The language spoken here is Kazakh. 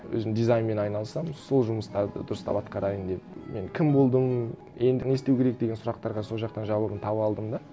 өзім дизайнмен айналысамын сол жұмыстарды дұрыстап атқарайын деп мен кім болдым енді не істеу керек деген сұрақтарға сол жақтан жауабын таба алдым да